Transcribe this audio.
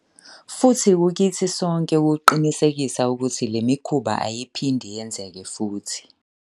Futhi kukithi sonke ukuqinisekisa ukuthi le mikhuba ayiphindi yenzeke futhi.